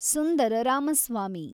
Sundara Ramaswamy